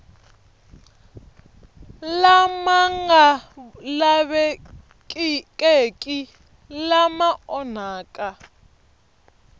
lama nga lavekeki lama onhaka